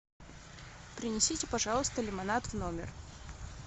принесите пожалуйста лимонад в номер